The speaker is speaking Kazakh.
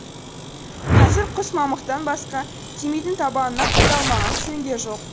қазір құс мамықтан басқа тимейтін табанына қадалмаған шөңге жоқ